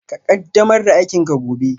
Ka ƙaddamar da aikinka gobe